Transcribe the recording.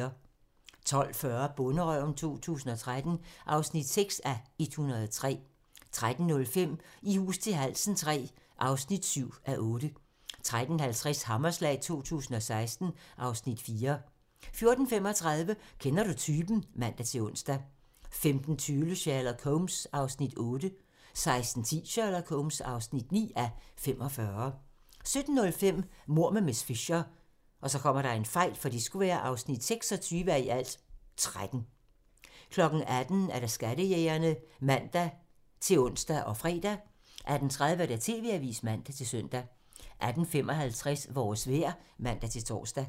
12:40: Bonderøven 2013 (6:103) 13:05: I hus til halsen III (7:8) 13:50: Hammerslag 2016 (Afs. 4) 14:35: Kender du typen? (man-ons) 15:20: Sherlock Holmes (8:45) 16:10: Sherlock Holmes (9:45) 17:05: Mord med miss Fisher (26:13) 18:00: Skattejægerne (man-ons og fre) 18:30: TV-avisen (man-søn) 18:55: Vores vejr (man-tor)